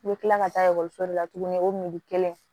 I bɛ kila ka taa ekɔliso de la tuguni o mugu kelen